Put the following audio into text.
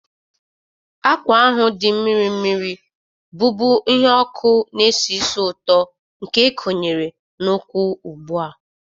Akwa ahụ dị mmiri mmiri, bụ́bu ihe ọkụ na-esi ísì ụtọ, nke ekonyere n'ụkwwụ ugbu a.